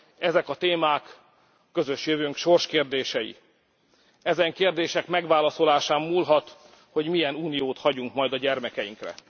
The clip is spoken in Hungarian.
Ezek a témák közös jövőnk sorskérdései. Ezen kérdések megválaszolásán múlhat, hogy milyen Uniót hagyunk majd a gyermekeinkre.